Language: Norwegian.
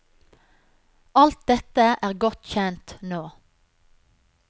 Alt dette er godt kjent nå.